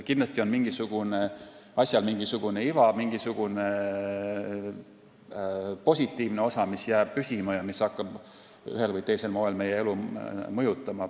Kindlasti on asjal mingisugune iva, mingi positiivne osa, mis jääb püsima ja hakkab ühel või teisel moel meie elu mõjutama.